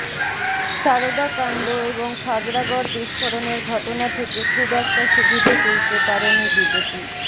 সারদা কাণ্ড এবং খাগড়াগড় বিস্ফোরণের ঘটনা থেকে খুব একটা সুবিধে তুলতে পারেনি বিজেপি